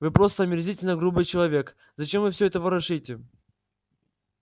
вы просто омерзительно грубый человек зачем вы всё это ворошите